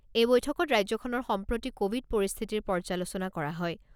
এই বৈঠকত ৰাজ্যখনৰ সাম্প্ৰতি ক'ভিড পৰিস্থিতিৰ পৰ্যালোচনা কৰা হয়।